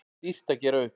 Dýrt að gera upp